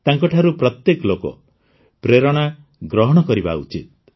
ତାଙ୍କଠାରୁ ପ୍ରତ୍ୟେକ ଲୋକ ପ୍ରେରଣା ଗ୍ରହଣ କରିବା ଉଚିତ